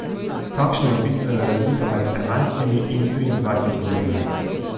Kakšna je bistvena razlika med enajstimi in triindvajsetimi urami?